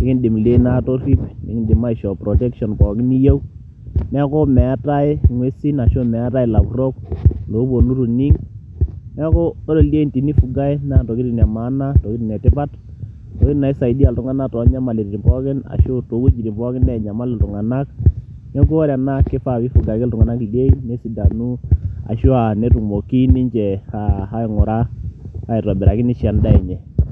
ikindim ildiein atorrip nikindim aishoo protection pookin niyieu neeku meetae ing'uesin ashu meetae ilapurrok loponu itu ining neeku ore ildiein tenifugae naa intokitin e maana ntokitin etipat ntokitin naisaidia iltung'anak tonyamaliritin pookin ashu towuejitin pookin nenyamal iltung'anak neeku ore ena kifaa pifuga ake iltung'anak ildiein nesidanu ashua netumoki ninche aing'ura aitobiraki nisho endaa enye.